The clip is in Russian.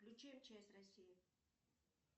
включи мчс россии